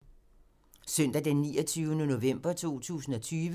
Søndag d. 29. november 2020